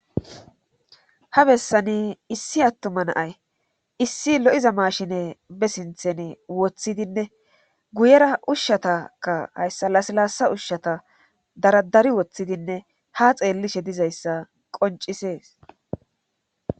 Ha bessani issi attuma naay issi lo7iza mashine be sinthen woththidinne guyera ushshatakka hayssa lasilaasa ushshata daradari woththidinne ha xeellishe dizayssa qoncisees